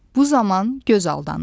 Bu zaman göz aldanır.